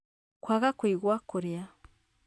kwaga kũigua kũrĩa,